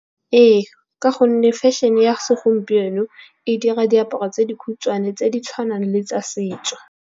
Ee, ka gonne fashion-e ya segompieno e dira diaparo tse dikhutshwane tse di tshwanang le tsa setso.